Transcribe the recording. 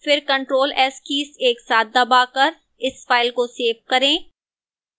फिर ctrl + s keys एक साथ दबाकर इस file को सेव करें